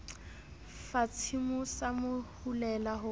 fatshemoo sa mo hulela ho